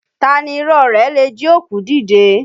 Taa ni irọ́ ọ rẹ̀ le jí òkú dìde?